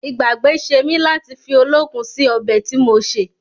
Ìgbàgbé ṣe mí láti fi olókun sì ọbẹ̀ tí mo ṣè